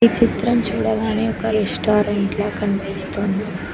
చిత్రం చూడగానే ఒక రెస్టారెంట్లా కనిపిస్తుంది.